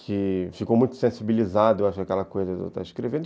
que ficou muito sensibilizado, eu acho, aquela coisa de eu estar escrevendo.